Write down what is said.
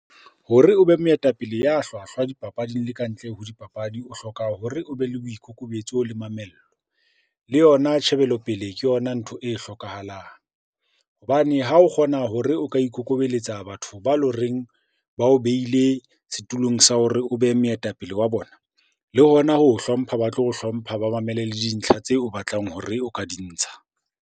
Hore o be moetapele ya hlwahlwa dipapading le ka ntle ho dipapadi, o hloka hore o be le boikokobetso le mamello le yona tjhebelopele ke yona ntho e hlokahalang. Hobane ha o kgona hore o ka ikokobeletsa batho ba lo reng ba o behile setulong sa hore o be moetapele wa bona, le hona ho hlompha ba tlo o hlompha, ba mamele le dintlha tseo o batlang hore o ka di ntsha.